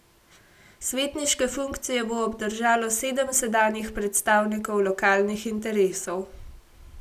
Svetniške funkcije bo obdržalo sedem sedanjih predstavnikov lokalnih interesov.